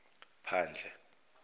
phandle